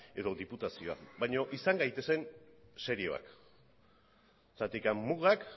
edo diputazioa baina izan gaitezen serioak zergatik mugak